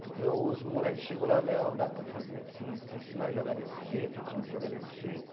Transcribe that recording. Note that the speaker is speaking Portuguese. Porque os moleque chegou lá, Leão, dá para fazer assim, assim, se nós jogar desse jeito, o time jogar desse jeito?